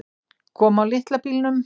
Kom á litla bílnum.